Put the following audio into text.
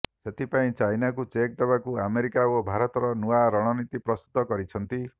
ସେଥିପାଇଁ ଚାଇନାକୁ ଚେକ୍ ଦେବାକୁ ଆମେରିକା ଓ ଭାରତର ନୂଆ ରଣନୀତି ପ୍ରସ୍ତୁତ କରିଛନ୍ତି